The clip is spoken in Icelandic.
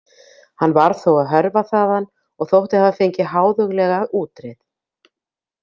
Hann varð þó að hörfa þaðan og þótti hafa fengið háðuglega útreið.